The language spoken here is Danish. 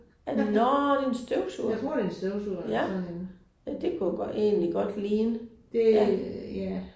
Nåh det er en støvsuger. Ja. Ja det kunne egentlig godt ligne ja